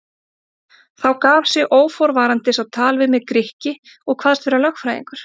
Þá gaf sig óforvarandis á tal við mig Grikki og kvaðst vera lögfræðingur.